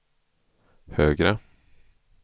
högre